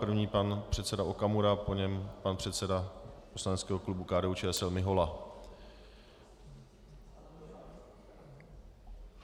První pan předseda Okamura, po něm pan předseda poslaneckého klubu KDU-ČSL Mihola.